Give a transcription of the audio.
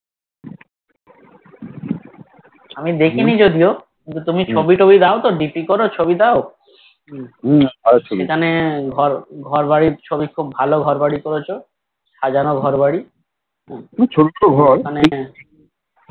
আমি দেখিনি যদিও কিন্তু তুমি ছবিটবি দাও তো DP করো কবি দাও এখানে ঘর ঘর বাড়ির ছবি খুব ভালো ঘরবাড়ি করেছি সাজানো ঘরবাড়ী